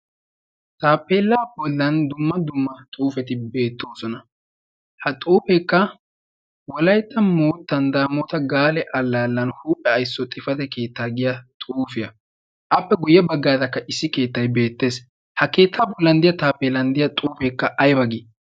Taappellaa bollaan dumma dumma xuufeti beettoosona. ha xuufeekka moottan damoota gaale allaanan huuphe aysso xifate keettaa giyaagaa. appe guyye baggaarakka issi keettay beettees. ha keetta bollan de'iyaa taappelaa bollaan diyaa xuufeekka aybaa gii?